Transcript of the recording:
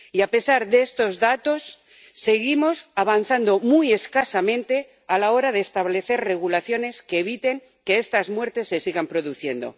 Y, a pesar de estos datos, seguimos avanzando muy escasamente a la hora de establecer regulaciones que eviten que estas muertes se sigan produciendo.